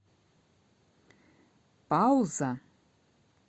пауза